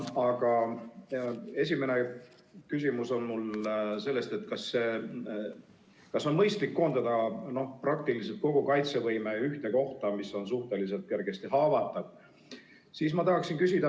Minu esimene küsimus on: kas on mõistlik koondada praktiliselt kogu kaitsevõime ühte kohta, mis on suhteliselt kergesti haavatav?